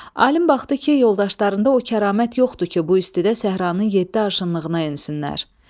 Alim baxdı ki, yoldaşlarında o kəramət yoxdur ki, bu istidə səhranın yeddi arşınlığına ensinlər.